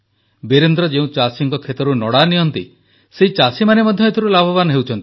ବୀରେନ୍ଦ୍ର ଯେଉଁ ଚାଷୀଙ୍କ ଖେତରୁ ନଡ଼ା ନିଅନ୍ତି ସେହି ଚାଷୀମାନେ ମଧ୍ୟ ଏଥିରୁ ଲାଭବାନ ହେଉଛନ୍ତି